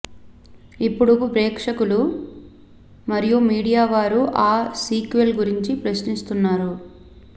ఇప్పుడు ప్రేక్షకులు మరియు మీడియా వారు ఆ సీక్వెల్ గురించి ప్రశ్నిస్తున్నారు